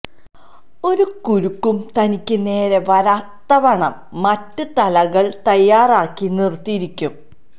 ഒരു കുരുക്കും തനിക്ക് നേരെ വരാത്തവണ്ണം മറ്റ് തലകള് തയ്യാറാക്കി നിര്ത്തിയിരിക്കും